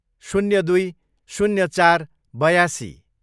शून्य दुई, शून्य चार, बयासी